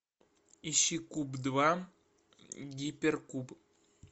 ищи куб два гипер куб